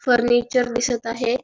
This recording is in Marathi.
फर्निचर दिसत आहे.